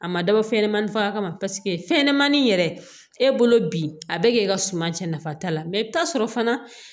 A ma dabɔ fɛn ɲɛnamani faga ma fɛnɲɛnɛmanin yɛrɛ e bolo bi a bɛ k'e ka suma cɛ nafa t'a la i bi t'a sɔrɔ fana